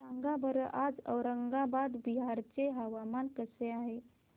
सांगा बरं आज औरंगाबाद बिहार चे हवामान कसे आहे